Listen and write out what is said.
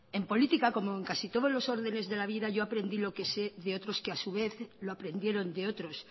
en política como en casi todos los órdenes de la vida yo aprendí lo que sé de otros que a su vez lo aprendieron de otros